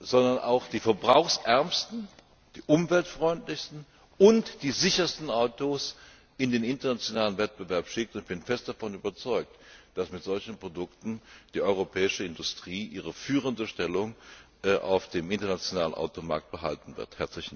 sondern auch die verbrauchsärmsten, die umweltfreundlichsten und die sichersten Autos in den internationalen Wettbewerb schickt, und ich bin fest davon überzeugt, dass die europäische Industrie mit solchen Produkten ihre führende Stellung auf dem internationalen Automarkt behalten wird.